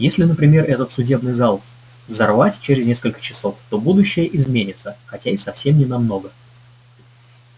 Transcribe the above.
если например этот судебный зал взорвать через несколько часов то будущее изменится хотя и совсем не намного